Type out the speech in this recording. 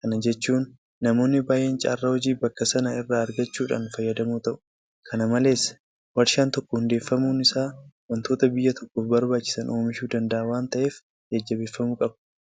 Kana jechuun namoonni baay'een carraa hojii bakka sana irraa argachuudhaan fayyadamoo ta'u. Kana malees warshaan tokko hundeeffamuun isaa waantota biyya tokkoof barbaachisan oomishuu danda'a waanta ta'eef jajjabeeffamuu qaba.